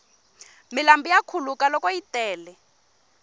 milambu ya khuluka loko yi tele